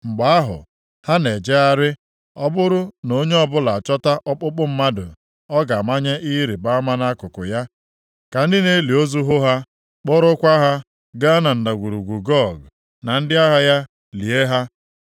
Mgbe ahụ, ha na-ejegharị, ọ bụrụ na onye ọbụla achọta ọkpụkpụ mmadụ ọ ga-amanye ihe ịrịbama nʼakụkụ ya, ka ndị na-eli ozu hụ ha, kporokwa ha gaa na Ndagwurugwu Gog na ndị agha ya lie ha.